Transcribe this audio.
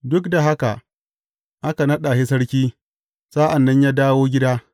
Duk da haka, aka naɗa shi sarki, sa’an nan ya dawo gida.